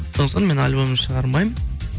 сондықтан мен альбом шығармаймын